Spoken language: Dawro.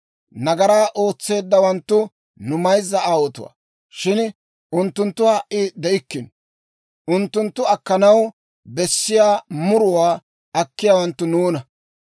Nagaraa ootseeddawanttu nu mayzza aawotuwaa; shin unttunttu ha"i de'ikkino. Unttunttu akkanaw bessiyaa muruwaa akkiyaawanttu nuuna.